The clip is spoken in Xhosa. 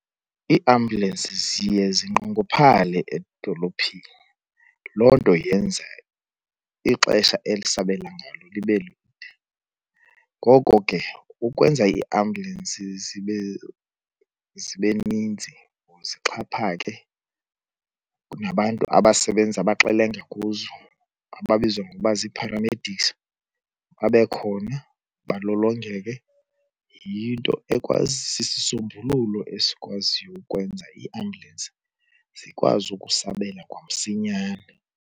Iiambulensi ziye zinqongophale edolophini, loo nto yenza ixesha elisabela ngalo libe lide. Ngoko ke ukwenza iiambulensi zibe, zibe ninzi or zixhaphake nabantu abasebenza, abaxelenga, kuzo ababizwa ngokuba zii-paramedics babe khona balolongeke, yinto sisisombululo esikwaziyo ukwenza iiambulensi zikwazi ukusabela kwamsinyane.